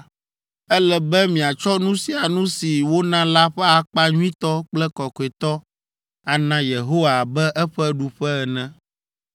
Ele be miatsɔ nu sia nu si wona la ƒe akpa nyuitɔ kple kɔkɔetɔ ana Yehowa abe eƒe ɖuƒe ene.’